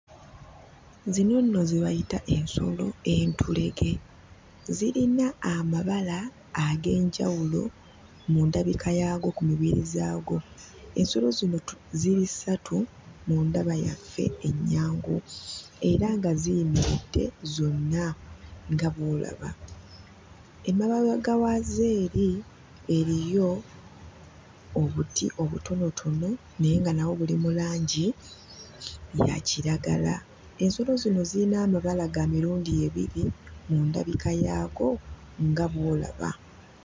Zino nno ze bayita ensolo entulege. Zirina amabala ag'enjawulo mu ndabika yaago, ku mibiri zaago. Ensolo zino tu... ziri ssatu mu ndaba yaffe ennyangu era nga ziyimiridde zonna nga bw'olaba. Emabega waazo eri eriyo obuti obutonotono naye nga nabwo buli mu langi ya kiragala. Ensolo zino ziyina amabala ga mirundu ebiri mu ndabika yaago, nga bw'olaba.